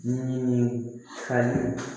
Min ye kari